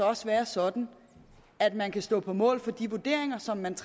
også være sådan at man kan stå på mål for de vurderinger som man